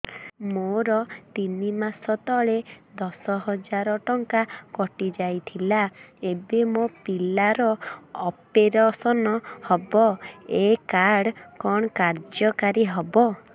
ମୋର ତିନି ମାସ ତଳେ ଦଶ ହଜାର ଟଙ୍କା କଟି ଯାଇଥିଲା ଏବେ ମୋ ପିଲା ର ଅପେରସନ ହବ ଏ କାର୍ଡ କଣ କାର୍ଯ୍ୟ କାରି ହବ